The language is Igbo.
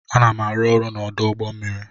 Ana m arụ ọrụ n'ọdụ ụgbọ mmiri.